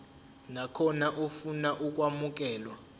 nakhona ofuna ukwamukelwa